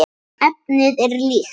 Efnið er líkt.